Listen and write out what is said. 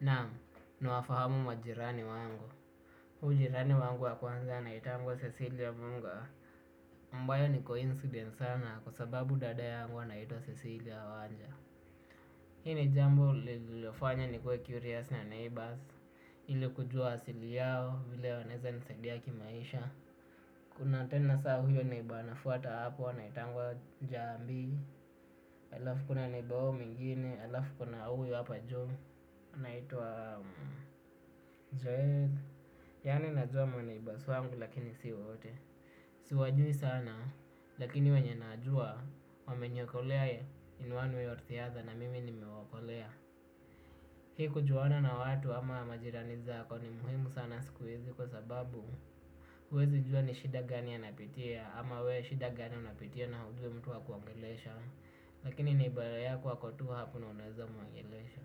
Naamu, nawafahamu majirani wangu. Huyo majirani wangu wa kwanza anaitangwa Cecilia Munga. Ambayo ni coincidence sana kwa sababu dada yangu anaitwa Cecilia Wanja. Hii jambo lililofanya nikue curious na neighbours. Ili kujua asili yao vile wanaweza nisaidia kimaisha. Kuna tena saa huyo neighbour anafuata hapo anaitangwa Jambi. Alafu kuna neighbour huyo mwingine. Alafu kuna huyo hapa juu. Anaitwa Jake. Yani najua ma neighbours wangu lakini si wote. Siwajui sana lakini wenye nawajua wameniokolea in one way or the other na mimi nimewaokolea. Hii kujuana na watu ama majirani zako ni muhimu sana siku hizi kwa sababu huwezi jua ni shida gani anapitia ama we shida gani unapitia na hujui mtu wa kuongelesha. Lakini neighbour yako ako tu hapo na unaweza muongelesha.